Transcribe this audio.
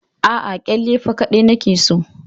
Aa, kilifa kaɗai nake so